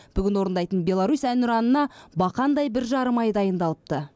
бүгін орындайтын беларусь әнұранына бақандай бір жарым ай дайындалыпты